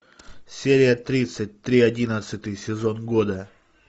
серия тридцать три одиннадцатый сезон года